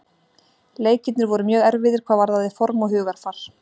Leikirnir voru mjög erfiðir hvað varðaði form og hugarfar.